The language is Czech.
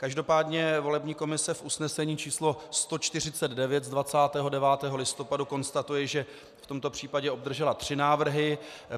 Každopádně volební komise v usnesení č. 149 z 29. listopadu konstatuje, že v tomto případě obdržela tři návrhy.